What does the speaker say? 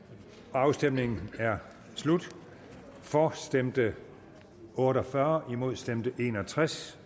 afstemningen er slut for stemte otte og fyrre imod stemte en og tres